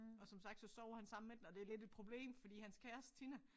Og som sagt så sover han sammen med den og det lidt et problem fordi hans kæreste Tina